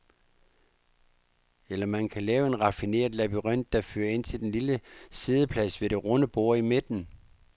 Eller man kan lave en raffineret labyrint, der fører ind til den lille siddeplads ved det runde bord i midten.